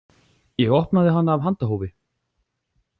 Ég opnaði hana af handahófi.